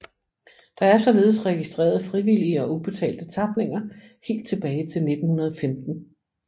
Der er således registreret frivillige og ubetalte tapninger helt tilbage til 1915